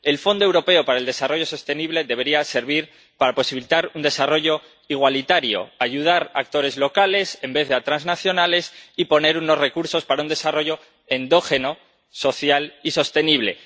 El Fondo Europeo de Desarrollo Sostenible debería servir para posibilitar un desarrollo igualitario, ayudar a actores locales, en vez de a transnacionales, y poner unos recursos para un desarrollo endógeno social y sostenible.